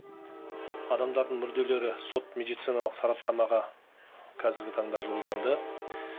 адамдардың мүрделері сот медициналық сараптамаға қазіргі таңда жолданды